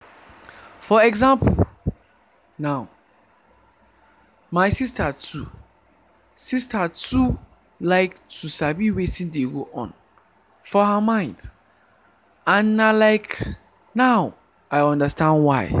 for example now my sister too sister too like to sabi wetin dey go on for her mind and na like now i understand why.